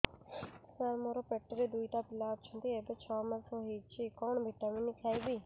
ସାର ମୋର ପେଟରେ ଦୁଇଟି ପିଲା ଅଛନ୍ତି ଏବେ ଛଅ ମାସ ହେଇଛି କଣ ଭିଟାମିନ ଖାଇବି